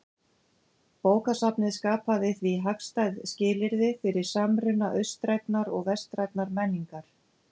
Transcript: Bókasafnið skapaði því hagstæð skilyrði fyrir samruna austrænnar og vestrænnar menningar.